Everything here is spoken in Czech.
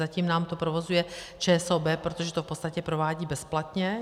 Zatím nám to provozuje ČSOB, protože to v podstatě provádí bezplatně.